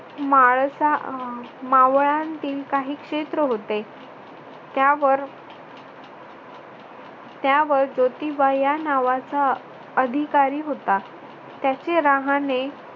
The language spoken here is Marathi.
माळसा अह मावळांतील काही क्षेत्र होते. त्यावर त्यावर ज्योतिबा या नावाचा अधिकारी होता. त्याचे रहाणे